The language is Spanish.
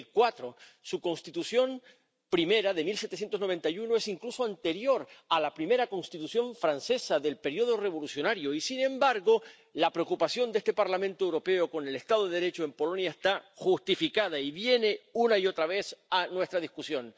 2004. Su Constitución primera, de 1791, es incluso anterior a la primera Constitución francesa del periodo revolucionario y, sin embargo, la preocupación de este Parlamento Europeo con el estado de Derecho en Polonia está justificada y viene una y otra vez a nuestra discusión.